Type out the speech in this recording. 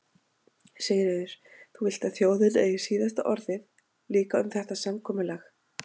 Sigríður: Þú vilt að þjóðin eigi síðasta orðið líka um þetta samkomulag?